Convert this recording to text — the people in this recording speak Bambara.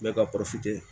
Ne ka